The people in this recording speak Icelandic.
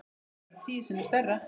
Þetta verður tíu sinnum stærra.